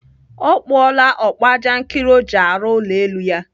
Ọ kpụọla ọkpụajankịrị o ji arụ ụlọ elu ya.